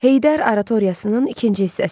Heydər Aratoriyasının ikinci hissəsi.